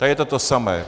Tady je to to samé.